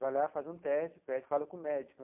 Vai lá, faz um teste, fala com o médico.